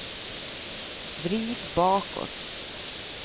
vrid bakåt